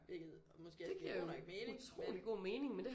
Hvilket måske også giver god nok mening men